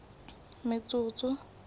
metsotso